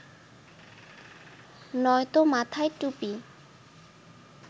নয়তো মাথায় টুপি